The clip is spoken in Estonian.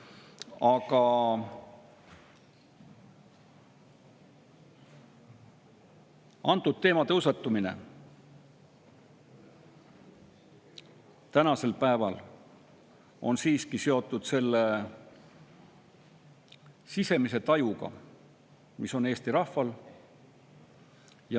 Aga antud teema tõusetumine on siiski seotud selle sisemise tajuga, mis on Eesti rahval.